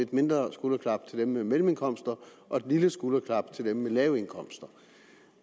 lidt mindre skulderklap til dem med mellemindkomster og et lille skulderklap til dem med lave indkomster